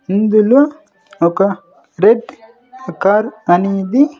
ఇందులో ఒక red car అనేది.